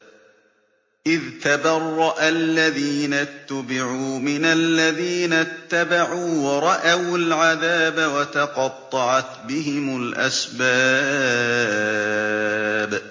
إِذْ تَبَرَّأَ الَّذِينَ اتُّبِعُوا مِنَ الَّذِينَ اتَّبَعُوا وَرَأَوُا الْعَذَابَ وَتَقَطَّعَتْ بِهِمُ الْأَسْبَابُ